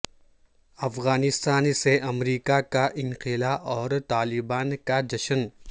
افغانستان سے امریکہ کا انخلا اور طالبان کا جشن